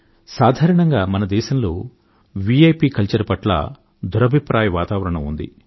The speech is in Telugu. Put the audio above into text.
సాధారణంగా మన దేశంలో విఐపి కల్చర్ పట్ల దురభిప్రాయ వాతావరణం ఉంది